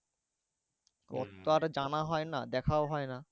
সব আর জানা হয় না দেখাও হয় না।